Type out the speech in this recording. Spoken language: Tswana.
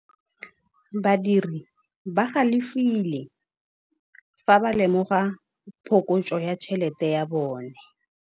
Badiri ba galefile fa ba lemoga phokotsô ya tšhelête ya bone.